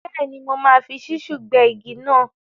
Bẹ́ẹ̀ni, mo máa fi ṣísúù gbẹ́ igi náà.